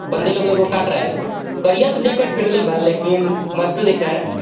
बन्दे लोगो को काट रहा हे करियात जैकेट पहनलेवा लेकिन मस्त दिख रहा हे.